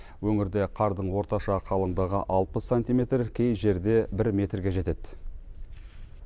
өңірде қардың орташа қалыңдығы алпыс сантиметр кей жерде бір метрге жетеді